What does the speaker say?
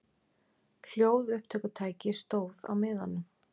HLJÓÐUPPTÖKUTÆKI stóð á miðanum.